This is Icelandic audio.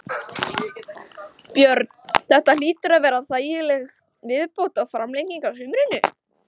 Björn: Þetta hlýtur að vera þægileg viðbót og framlenging á sumrinu?